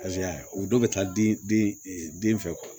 o dɔ bɛ taa den den fɛ